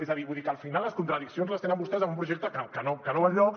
és a dir vull dir que al final les contradiccions les tenen vostès amb un projecte que no va enlloc